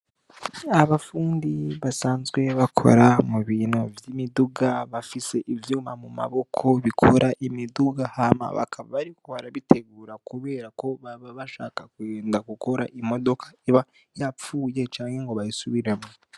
Abapfundi basanzwe bakora mu bintu vy'imiduga bafise ivyuma mu maboko bikora imiduga hama bakaba bariko barabitegura, kubera ko baba bashaka kuenda gukora imodoka iba yapfuye canke ngo bayisubiremwo.